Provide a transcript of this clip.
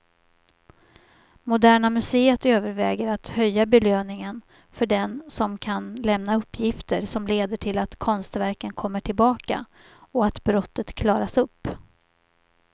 Moderna museet överväger att höja belöningen för den som kan lämna uppgifter som leder till att konstverken kommer tillbaka och att brottet klaras upp.